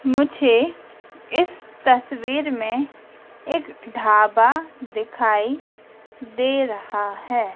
मुझे इस तस्वीर में एक ढाबा दिखाई दे रहा है।